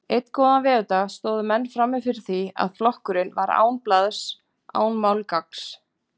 Einn góðan veðurdag stóðu menn frammi fyrir því að flokkurinn var án blaðs, án málgagns.